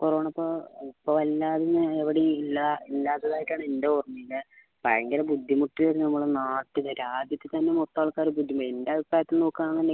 corona ഇപ്പൊ എവിടെയും ഇല്ലാത്തതായാണ് ഇൻ്റെ ഓർമ ഭയങ്കര ബുദ്ധിമുട്ടേനു നമ്മളെ നാട്ടിലൊക്കെ ആദ്യം ഒക്കെത്തന്നെ മൊത്തം ആൾക്കാർ എൻറെ അഭിപ്രായത്തിൽ നോക്കാണെൽ